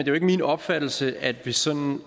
jo ikke min opfattelse at vi sådan